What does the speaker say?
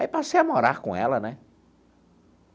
Aí passei a morar com ela, né?